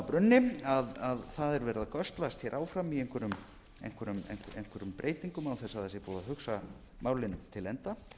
brunni að það er verið að göslast hér áfram í einhverjum breytingum án þess að það sé búið að hugsa málin til enda